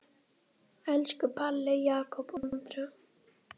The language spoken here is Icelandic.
Elsku Palli, Jakob og Andrea.